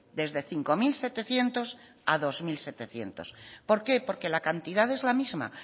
desde cinco mil setecientos a bi mila zazpiehun por qué porque la cantidad es la misma